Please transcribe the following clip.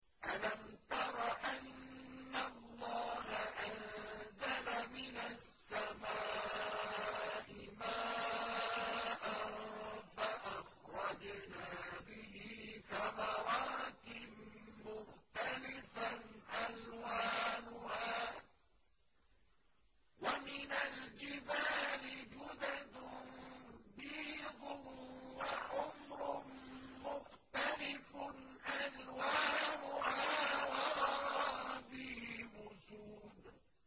أَلَمْ تَرَ أَنَّ اللَّهَ أَنزَلَ مِنَ السَّمَاءِ مَاءً فَأَخْرَجْنَا بِهِ ثَمَرَاتٍ مُّخْتَلِفًا أَلْوَانُهَا ۚ وَمِنَ الْجِبَالِ جُدَدٌ بِيضٌ وَحُمْرٌ مُّخْتَلِفٌ أَلْوَانُهَا وَغَرَابِيبُ سُودٌ